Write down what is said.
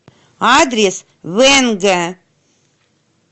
адрес венге